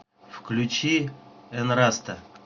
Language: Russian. включи энраста